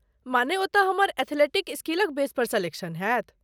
माने, ओतय हमर एथलीटिक स्किलक बेस पर सेलेक्शन हैत?